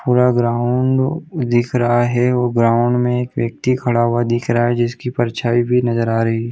पूरा ग्राउंड दिख रहा है और ग्राउंड में एक व्यक्ति खड़ा हुआ दिखाई दे रहा है जिसकी भी नज़र आ रही है परछायी भी नज़र आ रही है।